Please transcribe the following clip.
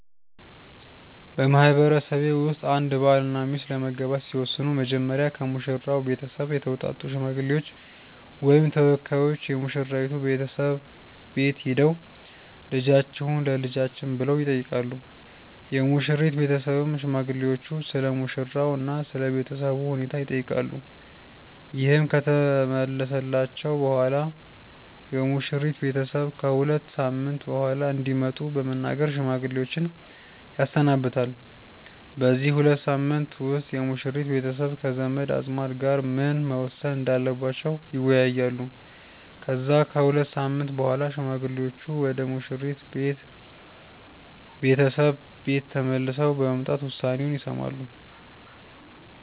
በማህበረሰቤ ውስጥ አንድ ባልና ሚስት ለመጋባት ሲወስኑ መጀመሪያ ከሙሽራው ቤተሰብ የተውጣጡ ሽማግሌዎች ወይም ተወካዮች የሙሽራይቱ ቤተሰብ ቤት ሄደው "ልጃችሁን ለልጃችን" ብለው ይጠይቃሉ። የሙሽሪት ቤተሰብም ሽማግሌዎቹን ስለሙሽራው እና ስለ ቤተሰቡ ሁኔታ ይጠይቃሉ። ይህ ከተመለሰላቸው በኋላም የሙሽሪት ቤተሰብ ከ ሁለት ሳምንት በኋላ እንዲመጡ በመናገር ሽማግሌዎችን ያሰናብታል። በዚህ ሁለት ሳምንት ውስጥ የሙሽሪት ቤተሰብ ከዘመድ አዝማድ ጋር ምን መወሰን እንዳለባቸው ይወያያሉ። ከዛ ከሁለት ሳምንት በኋላ ሽማግሌዎቹ ወደ ሙሽሪት ቤተሰብ ቤት ተመልሰው በመምጣት ውሳኔውን ይሰማሉ።